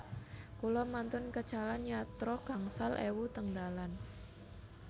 Kula mantun kecalan yatra gangsal ewu teng dalan